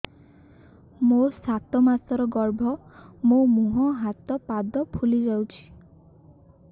ମୋ ସାତ ମାସର ଗର୍ଭ ମୋ ମୁହଁ ହାତ ପାଦ ଫୁଲି ଯାଉଛି